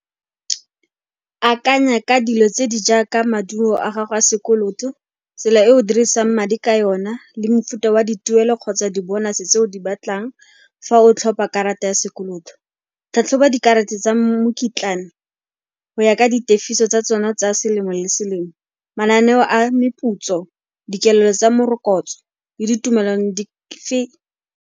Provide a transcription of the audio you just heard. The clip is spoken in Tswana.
Akanya ka dilo tse di jaaka maduo a gago a sekoloto, tsela e o dirisang madi ka yona le mofuta wa dituelo kgotsa di-bonus-e tse o di batlang fa o tlhopa karata ya sekoloto. Tlhatlhoba dikarata tsa mokitlane go ya ka ditefiso tsa tsona tsa selemo le selemo, mananeo a meputso, dikelo tsa morokotso le ditumelo di fe.